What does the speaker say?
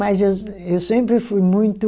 Mas eu, eu sempre fui muito